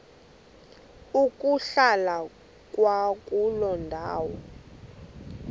ukuhlala kwakuloo ndawo